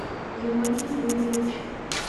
георгий юрьевич